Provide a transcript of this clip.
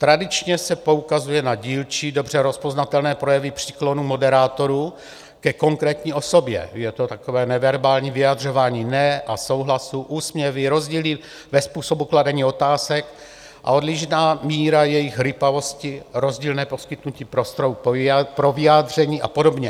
Tradičně se poukazuje na dílčí, dobře rozpoznatelné projevy příklonu moderátorů ke konkrétní osobě - je to takové neverbální vyjadřování ne a souhlasu, úsměvy, rozdíly ve způsobu kladení otázek a odlišná míra jejich rýpavosti, rozdílné poskytnutí prostoru pro vyjádření a podobně.